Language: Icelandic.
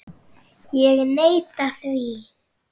Ég neita því.